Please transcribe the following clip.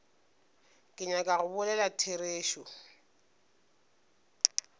ke nyaka go bolela therešo